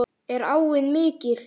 Er áin mikil?